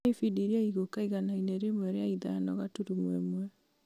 nyonia ibindi iria igũũka igana-inĩ rĩmwe rĩa ithano gaturumo ĩmwe